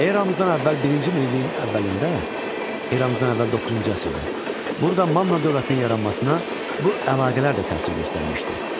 Eramızdan əvvəl birinci minilliyin əvvəlində, eramızdan əvvəl doqquzuncu əsrdə burada Manna dövlətinin yaranmasına bu əlaqələr də təsir göstərmişdi.